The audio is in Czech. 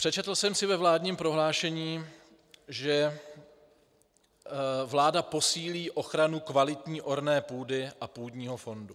Přečetl jsem si ve vládním prohlášení, že vláda posílí ochranu kvalitní orné půdy a půdního fondu.